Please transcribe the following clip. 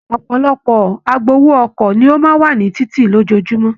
Ọpọlọpọ agbowó ọkọ̀ ni o máa n wa ni títí lójoojúmọ́.